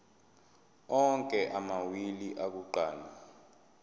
onke amawili akuqala